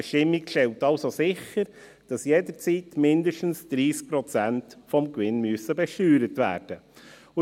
Die Bestimmungen stellen also sicher, dass jederzeit mindestens 30 Prozent des Gewinns besteuert werden müssen.